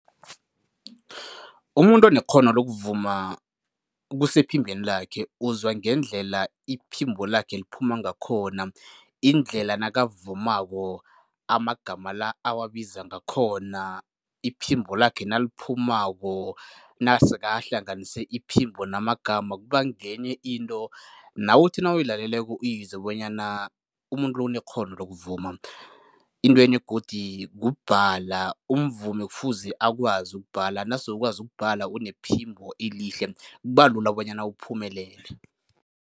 Umuntu onekghono lokuvuma, kusephimbeni lakhe, uzwa ngendlela iphimbo lakhe liphuma ngakhona. Indlela nakavumako, amagama la awabiza ngakhona, iphimbo lakhe naliphumako, nase ahlanganise iphimbo namagama kuba ngenye into nawe othi nawuyilaleleko uyizwe bonyana umuntu lo unekghono lokuvuma. Intwenye godi kubhala. Umvumi kufuze akwazi ukubhadela, nase ukwazi ukubhala unephimbo elihle, kuba lula bonyana uphumelele.